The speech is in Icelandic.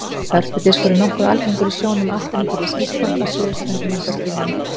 Hörpudiskur er nokkuð algengur í sjónum allt umhverfis Ísland að suðurströndinni undanskilinni.